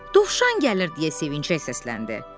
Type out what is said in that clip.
Dovşan gəlir deyə sevinclə səsləndi.